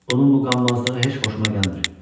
Bunun bu qanmazlığı heç xoşuma gəlmir.